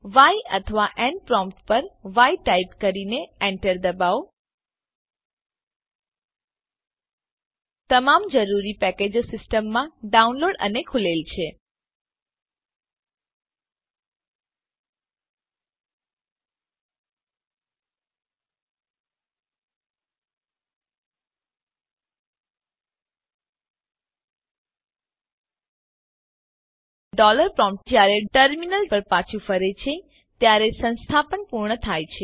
ય અથવા N prompt પર Y type કરીને એન્ટર દબાવો તમામ જરૂરી પેકેજો સીસ્ટમમાં ડાઉનલોડ અને ખૂલેલ છે ડોલર પ્રોમ્પ્ટજયારે ટર્મીનલ પર પાછું ફરે છે ત્યારે સંસ્થાપન પૂર્ણ થાય છે